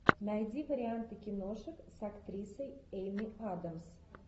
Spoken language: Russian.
найди варианты киношек с актрисой эми адамс